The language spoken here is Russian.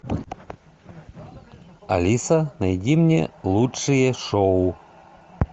алиса найди мне лучшие шоу